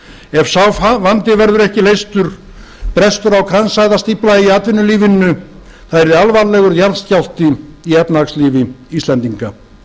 ef sá vandi verður ekki leystur brestur á kransæðastífla í atvinnulífinu það yrði alvarlegur jarðskjálfti í efnahagslífi íslendinga